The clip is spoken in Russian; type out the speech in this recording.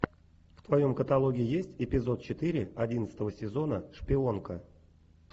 в твоем каталоге есть эпизод четыре одиннадцатого сезона шпионка